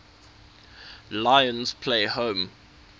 lions play home